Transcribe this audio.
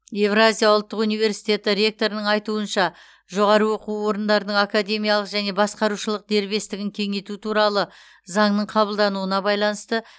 евразия ұлттық университеті ректорының айтуынша жоғары оқу орындарының академиялық және басқарушылық дербестігін кеңейту туралы заңның қабылдануына байланысты